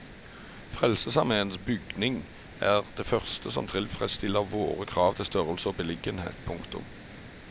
Frelsesarméens bygning er det første som tilfredsstiller våre krav til størrelse og beliggenhet. punktum